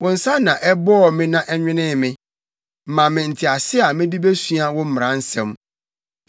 Wo nsa na ɛbɔɔ me na ɛnwenee me; ma me ntease a mede besua wo mmara nsɛm.